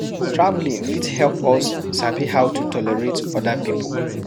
Traveling fit help us sabi how to tolerate oda pipo